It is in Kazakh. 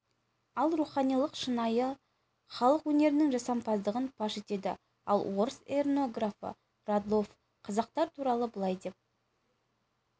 ал руханилық шынайы халық өнерінің жасампаздығын паш етеді ал орыс эрнографы радлов қазақтар туралы былай деп